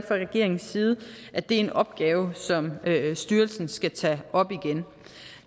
regeringens side at det er en opgave som styrelsen skal tage op igen